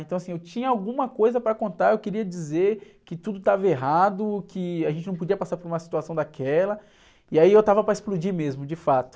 Então assim, eu tinha alguma coisa para contar, eu queria dizer que tudo estava errado, que a gente não podia passar por uma situação daquela, e aí eu estava para explodir mesmo, de fato.